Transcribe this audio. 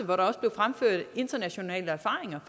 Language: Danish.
hvor der også blev fremført internationale erfaringer